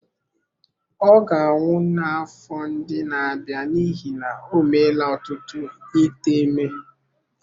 Ọ ga-anwụ n’afọ ndị na-abịa n’ihi na o meela ọtụtụ ite ime.